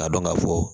Ka dɔn ka fɔ